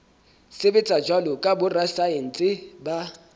sebetsa jwalo ka borasaense ba